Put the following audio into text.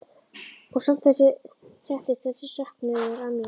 Og samt settist þessi söknuður að mér.